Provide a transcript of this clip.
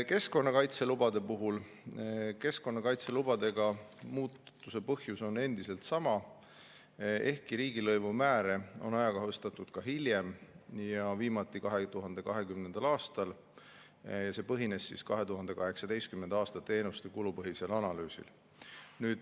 Keskkonnakaitselubade muutuse põhjus on endiselt sama, ehkki riigilõivumääre on ajakohastatud ka hiljem, viimati 2020. aastal – see põhines 2018. aasta teenuste kulupõhisel analüüsil.